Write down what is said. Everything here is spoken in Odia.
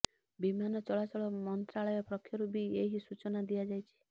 ବିମାନ ଚଳାଚଳ ମନ୍ତ୍ରାଳୟ ପକ୍ଷରୁ ବି ଏହି ସୂଚନା ଦିଆଯାଇଛି